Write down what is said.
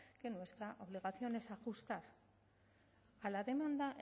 que nuestra obligación es ajustar a la demanda